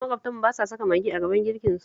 Maƙwabtanmu ba sa saka Maggi a gaban girkinsu